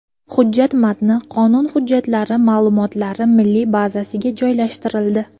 Hujjat matni qonun hujjatlari ma’lumotlari milliy bazasiga joylashtirildi .